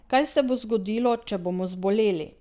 Kaj se bo zgodilo, če bomo zboleli?